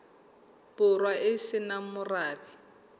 borwa e se nang morabe